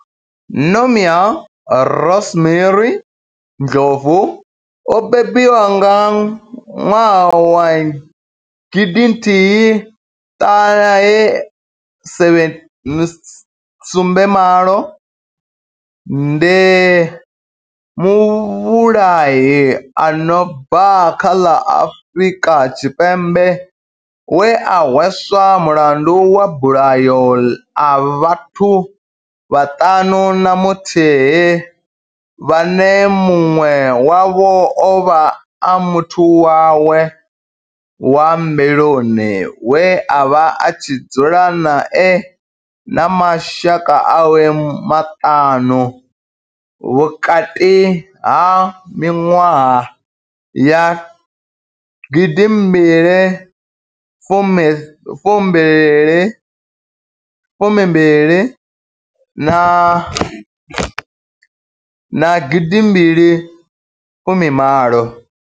Nomia Rosemary Ndlovu o bebiwaho nga nwaha wa gidi nthihi ṱahe sumbe malo ndi muvhulahi a no bva kha ḽa Afurika Tshipembe we a hweswa mulandu wa mabulayo a vhathu vhaṱanu na muthihi vhane munwe wavho ovha a muthu wawe wa mbiluni we avha a tshi dzula nae na mashaka awe maṱanu vhukati ha minwaha ya gidi mbili fumi mbili na gidi mbili fumi malo.